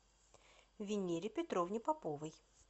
винере петровне поповой